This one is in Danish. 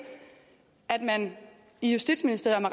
at man i justitsministeriet